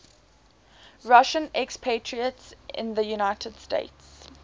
russian expatriates in the united states